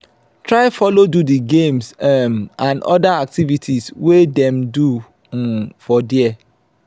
try follow do di games um and other activities wey dem do um for there